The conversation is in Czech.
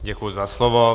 Děkuji za slovo.